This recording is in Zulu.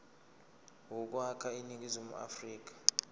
yokwakha iningizimu afrika